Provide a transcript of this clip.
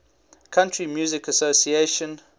country music association